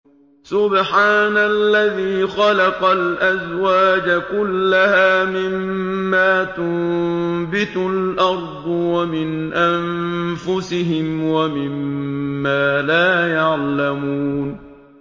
سُبْحَانَ الَّذِي خَلَقَ الْأَزْوَاجَ كُلَّهَا مِمَّا تُنبِتُ الْأَرْضُ وَمِنْ أَنفُسِهِمْ وَمِمَّا لَا يَعْلَمُونَ